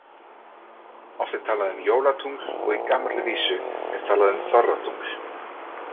Oft er talað um jólatungl og í gamalli vísu er talað um þorratungl.